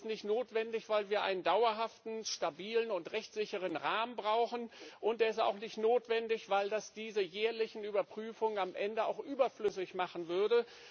Sie ist nicht notwendig, weil wir einen dauerhaften, stabilen und rechtssicheren Rahmen brauchen, und sie ist auch nicht notwendig, weil das diese jährlichen Überprüfungen am Ende auch überflüssig machen würde.